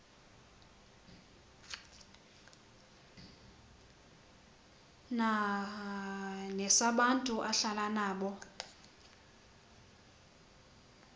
nesabantu ahlala nabo